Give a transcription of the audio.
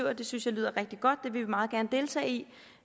at det synes jeg lyder rigtig godt vil vi meget gerne deltage i